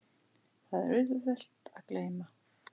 Það er auðvelt að gleyma.